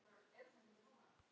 Slíkur vinur var Kolla.